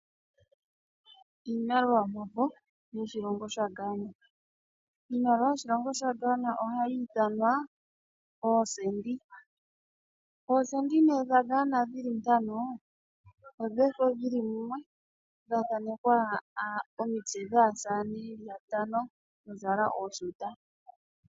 Iimaliwa yomafo yoshilongo sha Ghana. Iimaliwa yoshilongo sha Ghana ohayi ithanwa oocedi. Oocedi nee dha Ghana dhili ntano odhefo dhili mumwe dha thaanekwa omitse dhaasamane yeli yatano yazala ooshuta.